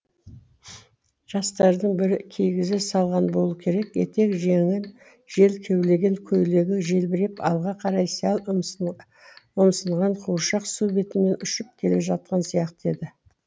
жастардың бірі кигізе салған болуы керек етек жеңін жел кеулеген көйлегі желбіреп алға қарай сәл ұмсынған қуыршақ су бетімен ұшып келе жатқан сияқты еді